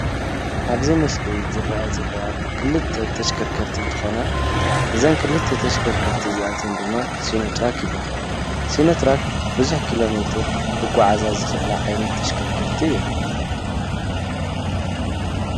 ኣብ እዚ ምስሊ እርኣያ ዘለዋ ክልተ ተሽከርከርቲ እንትኾና። እዛ ክልተ ተሽከርከርቲ እዝይኣተን ድማ ሲኖትራክ ይባሃላ። ሲኖትራክ ብዙሕ ኪሎ ሜትር ክጎዓዛ ዝክእላ ዓይነት ተሽከርከርቲ እየን?